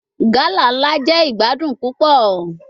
Gala nla jẹ igbadun pupọ